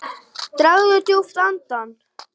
Dragðu djúpt andann!